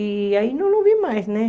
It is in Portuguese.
E aí eu não vi mais, né?